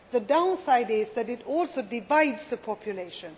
The downside is that it also divides the population.